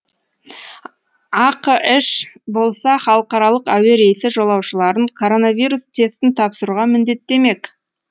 ақш болса халықаралық әуе рейсі жолаушыларын коронавирус тестін тапсыруға міндеттемек